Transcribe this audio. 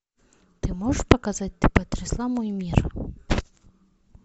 ты можешь показать ты потрясла мой мир